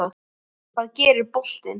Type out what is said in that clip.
Hvað gerir boltinn?